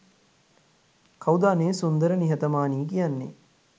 "කවුද අනේ සුන්දර නිහතමානි කියන්නෙ